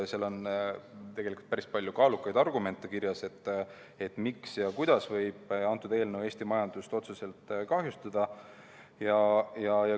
Seal on tegelikult päris palju kaalukaid argumente kirjas, miks ja kuidas võib eelnõu Eesti majandust otseselt kahjustada.